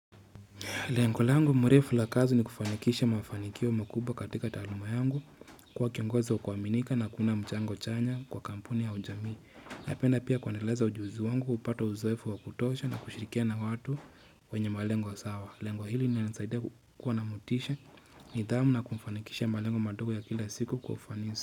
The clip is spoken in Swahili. Lengo langu mrefu la kazi ni kufanikisha mafanikio makubwa katika taluma yangu kuwa kiongozi wa ku aminika na kuna mchango chanya kwa kampuni ya ujamii na penda pia kuendeleza ujuzi wangu, kupata uzoefu wa kutosha na kushirikina na watu. Wenye malengo sawa lengo hili linanisaidia kuwa namotisha nidhamu na kufanikisha malengo madogo ya kila siku kwa ufanisi.